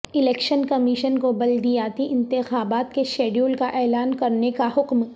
election commission کو بلدیاتی انتخابات کے شیڈول کا اعلان کرنے کا حکم